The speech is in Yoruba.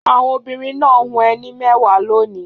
Àwọn obìnrin náà hun ẹní mẹ́wàá lónìí.